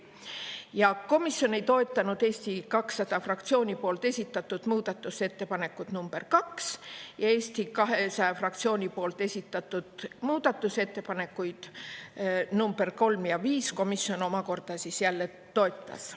Ja komisjon ei toetanud Eesti 200 fraktsiooni esitatud muudatusettepanekut nr 2 ja Eesti 200 fraktsiooni esitatud muudatusettepanekuid nr 3 ja 5 komisjon omakorda jälle toetas.